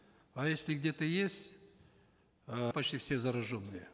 а если где то есть э почти все зараженные